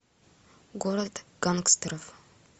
город гангстеров